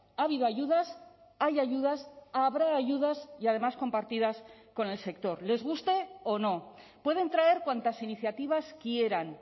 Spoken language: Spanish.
ha habido ayudas hay ayudas habrá ayudas y además compartidas con el sector les guste o no pueden traer cuantas iniciativas quieran